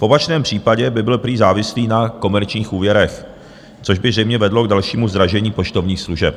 V opačném případě by byl prý závislý na komerčních úvěrech, což by zřejmě vedlo k dalšímu zdražení poštovních služeb.